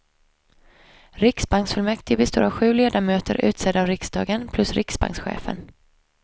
Riksbanksfullmäktige består av sju ledamöter utsedda av riksdagen plus riksbankschefen.